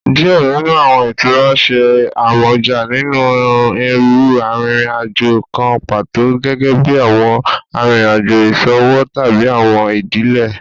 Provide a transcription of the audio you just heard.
Diẹ ninu awọn itura ṣe amọja ni iru arinrin-ajo kan pato, gẹgẹbi awọn arinrin-ajo iṣowo tabi awọn idile.